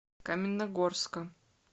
каменногорска